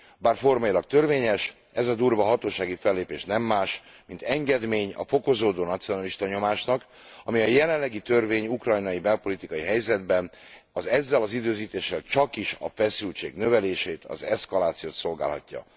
Bár formailag törvényes, ez a durva hatósági fellépés nem más, mint engedmény a fokozódó nacionalista nyomásnak. A törvény a jelenlegi ukrajnai belpolitikai helyzetben ezzel az időzítéssel csakis a feszültség növelését, az eszkalációt szolgálhatja.